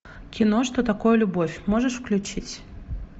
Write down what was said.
кино что такое любовь можешь включить